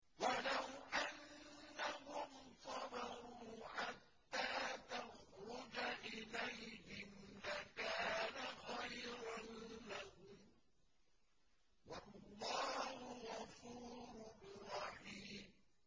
وَلَوْ أَنَّهُمْ صَبَرُوا حَتَّىٰ تَخْرُجَ إِلَيْهِمْ لَكَانَ خَيْرًا لَّهُمْ ۚ وَاللَّهُ غَفُورٌ رَّحِيمٌ